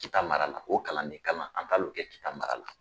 Kita mara la o kalanden kalan an taala o kɛ kita mara la